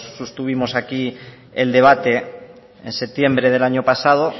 sostuvimos aquí el debate en septiembre del año pasado